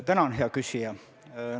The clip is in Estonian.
Tänan, hea küsija!